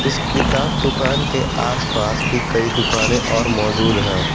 इस किताब दुकान के आसपास भी कई दुकानें और मौजूद हैं।